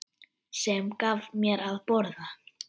Sem gaf mér að borða.